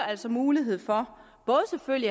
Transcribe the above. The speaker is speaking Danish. altså mulighed for